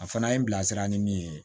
A fana ye n bila sira ni min ye